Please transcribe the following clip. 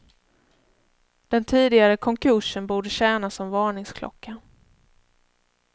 Den tidigare konkursen borde tjäna som varningsklocka.